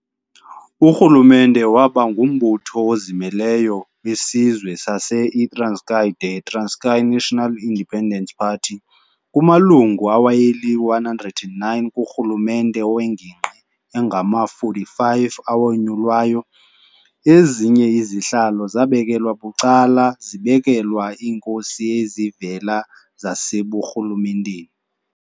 Urhulumente waba ngumbutho ozimeleyo wesizwe sase, i-"Transkei the Transkei National Independence Party". Kumalungu aweyeli-109 kurhulumente wengingqi, angama-45 awonyulwayo, ezinye izihlalo zabekelwa bucala zibekelwa iinkosi ezivela zaseburhulumenteni.